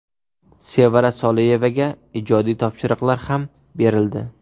Sevara Soliyevaga ijodiy topshiriqlar ham berildi.